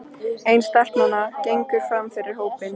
Ein stelpnanna gengur fram fyrir hópinn.